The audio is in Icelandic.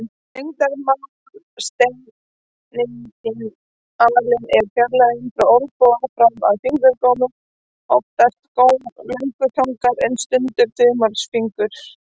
Lengdarmálseiningin alin er fjarlægðin frá olnboga fram fyrir fingurgóm, oftast góm löngutangar en stundum þumalfingurs.